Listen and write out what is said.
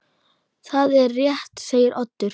Það er rétt segir Oddur.